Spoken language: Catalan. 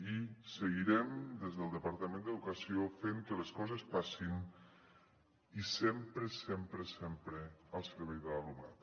i seguirem des del departament d’educació fent que les coses passin i sempre sempre sempre al servei de l’alumnat